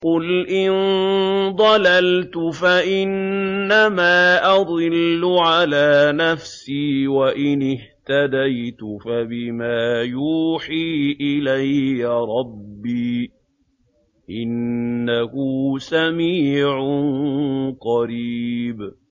قُلْ إِن ضَلَلْتُ فَإِنَّمَا أَضِلُّ عَلَىٰ نَفْسِي ۖ وَإِنِ اهْتَدَيْتُ فَبِمَا يُوحِي إِلَيَّ رَبِّي ۚ إِنَّهُ سَمِيعٌ قَرِيبٌ